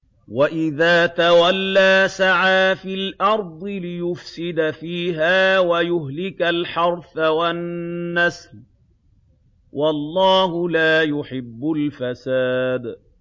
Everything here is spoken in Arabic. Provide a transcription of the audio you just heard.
وَإِذَا تَوَلَّىٰ سَعَىٰ فِي الْأَرْضِ لِيُفْسِدَ فِيهَا وَيُهْلِكَ الْحَرْثَ وَالنَّسْلَ ۗ وَاللَّهُ لَا يُحِبُّ الْفَسَادَ